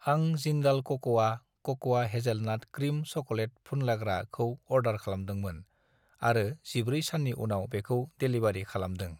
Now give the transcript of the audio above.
आं जिन्डाल कक'आ क'क'आ हेजेलनाट क्रिम चक'लेट फुनलाग्रा खौ अर्डार खालामदोंमोन आरो 14 साननि उनाव बेखौ डेलिबारि खालामदों।